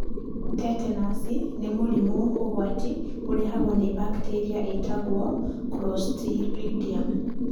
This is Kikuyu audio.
Tetenaci nĩ mũrimũ ũgwati ũrehagwo nĩ mbakitĩria ĩgwĩto Clostridium.